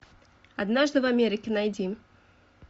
однажды в америке найди